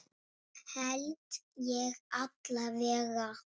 Held ég alla vega.